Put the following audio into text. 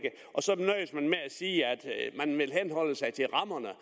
sige at man vil henholde sig til rammerne